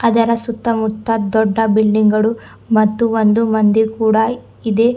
ಅದರ ಸುತ್ತಮುತ್ತ ದೊಡ್ಡ ಬಿಲ್ಡಿಂಗ್ ಗಳು ಮತ್ತು ಒಂದು ಮಂದಿರ್ ಕೂಡ ಇದೆ.